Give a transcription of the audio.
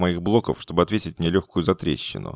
моих блоков чтобы ответить нелёгкую затрещину